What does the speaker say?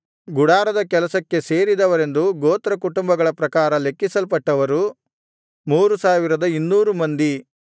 ಗುಡಾರದ ಕೆಲಸಕ್ಕೆ ಸೇರಿದವರೆಂದು ಗೋತ್ರಕುಟುಂಬಗಳ ಪ್ರಕಾರ ಲೆಕ್ಕಿಸಲ್ಪಟ್ಟವರು 3200 ಮಂದಿ